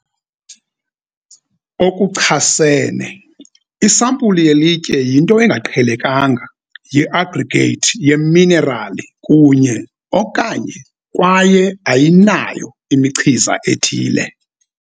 okuchasene, isampuli yelitye yinto engaqhelekanga yi-aggregate yeminerali kunye - okanye kwaye ayinayo imichiza ethile